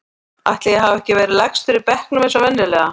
Ætli ég hafi ekki verið lægstur í bekknum eins og venjulega.